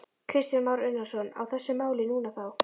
Kristján Már Unnarsson: Á þessu máli núna þá?